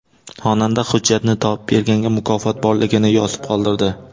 Xonanda hujjatni topib berganga mukofot borligini yozib qoldirdi.